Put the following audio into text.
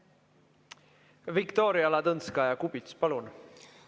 Viktoria Ladõnskaja-Kubits, palun!